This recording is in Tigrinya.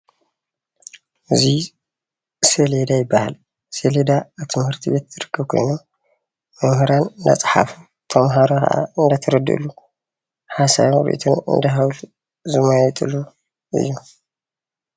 እዚ ሴሌዳ ይባሃል፡፡ ሴሌዳ ኣብ ትምህርቲ ቤት ዝርከብ ኮይኑ መምህራን እናፀሓፉ ተማሃሮ ከኣ እናተረድእሉ ሓሳቦምን ሪኢቶን እንዳሃብሉን ዝመያየጥሉ እዩ፡፡